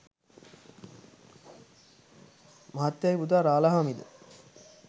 මහත්තයාගේ පුතා රාලහාමි ද